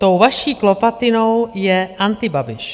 Tou vaší klovatinou je antibabiš.